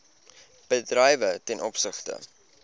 bedrywe ten opsigte